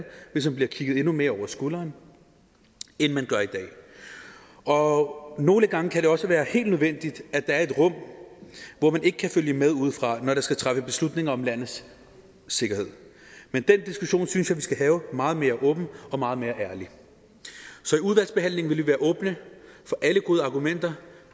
hvis man bliver kigget endnu mere over skulderen end man gør i dag og nogle gange kan det også være helt nødvendigt at der er et rum hvor man ikke kan følge med udefra når der skal træffes beslutninger om landets sikkerhed men den diskussion synes jeg vi skal have meget mere åbent og meget mere ærligt så i udvalgsbehandlingen vil vi være åbne for alle gode argumenter